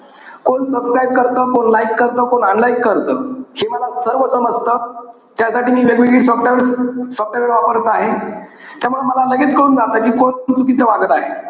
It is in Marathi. कोण subscribe करतं, कोण like करतं, कोण unlike करतं, हे मला सर्व समजतं. त्यासाठी मी वेगवेगळी software-software वापरत आहे. त्यामुळे मला लगेच कळून जातं कि, कोण चुकीचं वागत आहे.